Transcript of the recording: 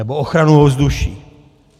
Nebo ochranu ovzduší.